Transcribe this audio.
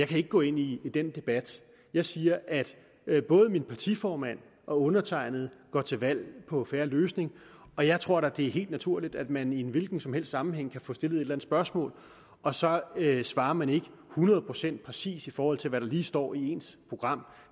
kan ikke gå ind i den debat jeg siger at at både min partiformand og undertegnede går til valg på en fair løsning og jeg tror da det er helt naturligt at man i en hvilken som helst sammenhæng kan få stillet et spørgsmål og så svarer man ikke hundrede procent præcist i forhold til hvad der lige står i ens program